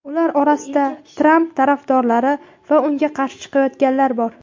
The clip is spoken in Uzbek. Ular orasida Tramp tarafdorlari va unga qarshi chiqayotganlar bor.